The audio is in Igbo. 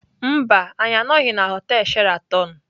Mba, anyị anọghị na họtel Sheraton.